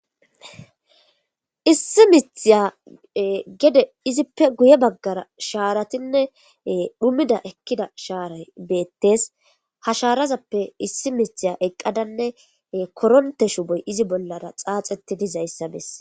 Issi mithiya gede izippe guye baggara shaaratinne dhumida ekkida shaaray beettes hashaarazappe issi mithiya eqqadanne koronte shuboy izi bollara xaaxeti dizayssa bes